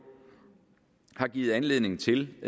har givet anledning til